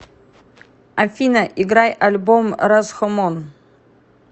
афина играй альбом расхомон